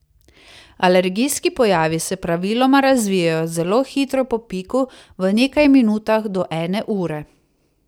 Alergijski pojavi se praviloma razvijejo zelo hitro po piku, v nekaj minutah do ene ure.